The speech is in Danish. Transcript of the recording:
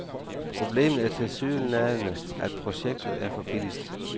Problemet er tilsyneladende, at projektet er for billigt.